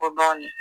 O banni